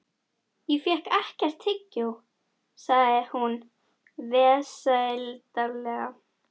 Ég fékk ekkert tyggjó, sagði hún vesældarlega.